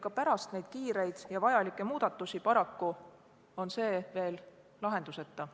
Ka pärast neid kiireid ja vajalikke seadusemuudatusi on selle teemaga seonduv paraku veel lahenduseta.